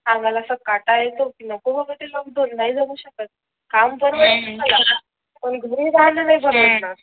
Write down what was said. अंगाला असं काटा येतो की नको बाबा जाते ते लोकडाउन नाही जगू शकत काम परवडत पण घरी राहायला नाही जमणार